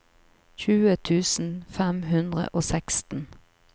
tjue tusen fem hundre og seksten